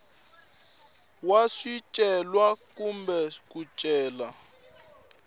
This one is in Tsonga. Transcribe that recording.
wa swicelwa kumbe ku cela